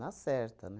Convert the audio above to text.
certa, né?